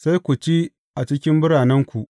Sai ku ci a cikin biranenku.